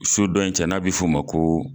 So dɔ in cɛ n'a bɛ f'o ma ko